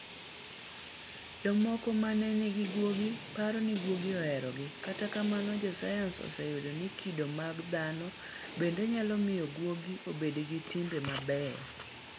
Jomoko ma nigi guogi paro ni guogi oherogi, kata kamano josayans oseyudo ni kido mag dhano bende nyalo miyo guogi obed gi timbe mabeyo.